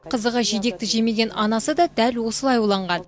қызығы жидекті жемеген анасы да дәл осылай уланған